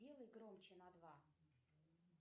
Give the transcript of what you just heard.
сделай громче на два